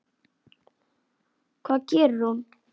Hvað gerir hún?